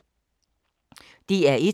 DR1